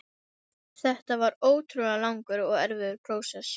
Þetta var ótrúlega langur og erfiður prósess.